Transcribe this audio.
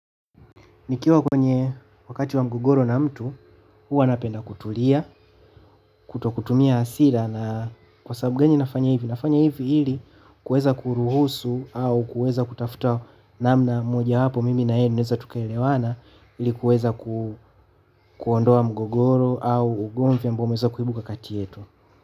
Nikiwa kwenye wakati wa mgogoro na mtu, huwa napenda kutulia, kuto kutumia hasira na kwa sababu gani nafanya hivi. Nafanya hivi ili kuweza kuruhusu au kuweza kutafuta namna mojawapo mimi na yeye tunaeza tukaelewana ilikuweza kuondoa mgogoro au ugomvi ambao umeweza kuibuka kati yetu.